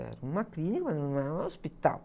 Era uma clínica, mas não era um hospital.